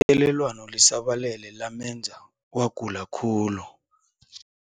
Ithelelwano lisabalele lamenza wagula khulu.